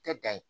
Tɛ dan ye